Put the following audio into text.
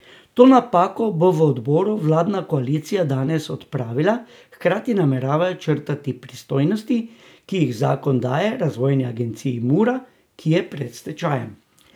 To napako bo v odboru vladna koalicija danes odpravila, hkrati nameravajo črtati pristojnosti, ki jih zakon daje razvojni agenciji Mura, ki je pred stečajem.